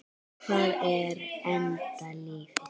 Hvað er enda lífið?